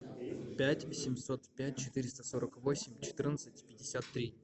пять восемьсот пять четыреста сорок восемь четырнадцать пятьдесят три